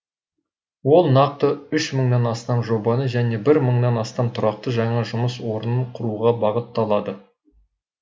ол нақты үш мыңнан астам жобаны және бір мыңнан астам тұрақты жаңа жұмыс орнын құруға бағытталады